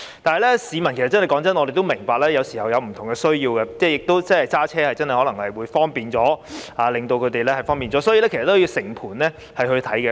但是，坦白說，我們也明白市民有時候有不同的需要，駕駛真的可能會更方便，所以，政府要全盤考慮。